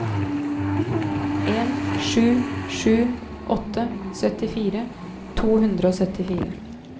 en sju sju åtte syttifire to hundre og syttifire